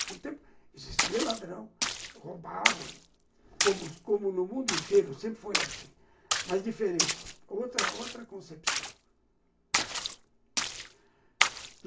Naquele tempo existia ladrão, roubavam, como como no mundo inteiro sempre foi assim, mas diferente, com outra outra concepção.